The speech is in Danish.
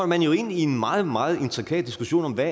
man jo ind i en meget meget intrikat diskussion om hvad